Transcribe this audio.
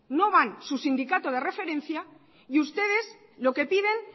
no van su sindicato de referencia y ustedes lo que piden